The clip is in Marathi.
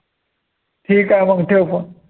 ठीक आहे मंग ठेव phone